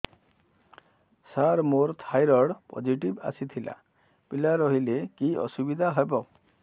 ସାର ମୋର thyroid positive ଆସିଥିଲା ପିଲା ରହିଲେ କି ଅସୁବିଧା ହେବ